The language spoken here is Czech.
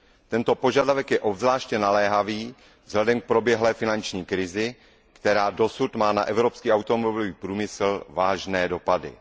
Tento požadavek je obzvláště naléhavý vzhledem k proběhlé finanční krizi, která dosud má na evropský automobilový průmysl vážné dopady.